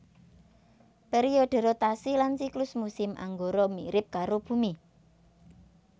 Pèriodhe rotasi lan siklus musim Anggara mirip karo Bumi